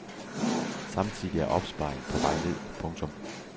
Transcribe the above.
Samtidig er opsparingen på vej ned. punktum